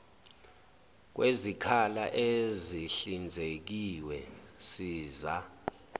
kwezikhala ezihlinzekiwe siza